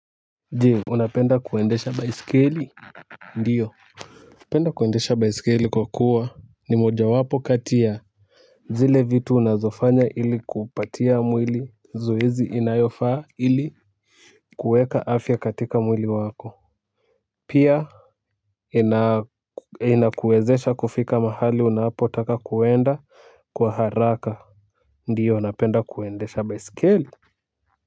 Je, unapenda kuendesha baiskeli? Ndio. Napenda kuendesha baiskeli kwa kuwa, ni mojawapo kati ya zile vitu unazofanya ili kupatia mwili zoezi inayofaa ili kueka afya katika mwili wako. Pia inakuwezesha kufika mahali unapotaka kuenda kwa haraka. Ndio, napenda kuendesha baiskeli.